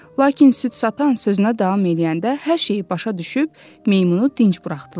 Lakin süd satan sözünə davam eləyəndə hər şeyi başa düşüb, meymunu dinc buraxdılar.